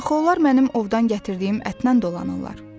Axı onlar mənim ovdan gətirdiyim ətdən dolanırlar.